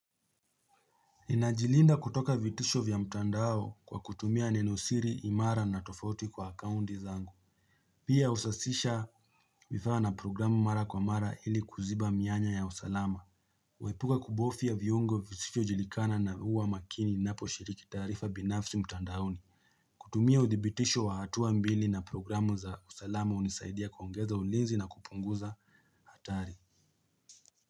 Ninajilinda kutoka vitisho vya mtandao kwa kutumia nenosiri, imara na tofoti kwa akaunti zangu Pia usasisha vifaa na programu mara kwa mara ili kuziba mianya ya usalama Waipuka kubofya viongo vizisho jilikana na huwa makini napo shiriki tarifa binafsi mtandaoni kutumia uthibitisho wa hatuwa mbili na programu za usalama unisaidia kwa ungeza ulinzi na kupunguza hatari.